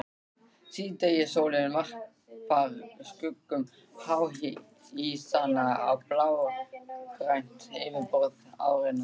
Síðdegissólin varpar skuggum háhýsanna á blágrænt yfirborð árinnar.